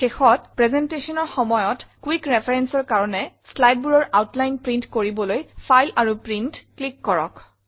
শেষত presentationৰ সময়ত কুইক referenceৰ কাৰণে slideবোৰৰ আউটলাইন প্ৰিণ্ট কৰিবলৈ ফাইল আৰু প্ৰিণ্ট ক্লিক কৰক